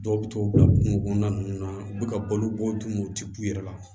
Dɔw bɛ t'o bila kungo kɔnɔna nunnu na u bi ka balo bɔ duguma u ti k'u yɛrɛ la